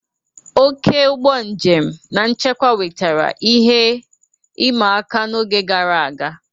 Oke ụgbọ njem na nchekwa wetara ihe ịma aka n'oge gara aga.